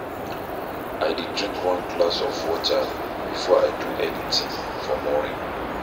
I dey drink one glass of water before I do anything for morning.